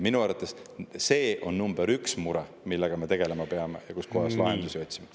Minu arvates on see number üks mure, millega me peame tegelema ja millele lahendusi otsima.